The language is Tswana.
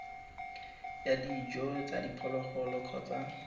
ya dijo tsa diphologolo kgotsa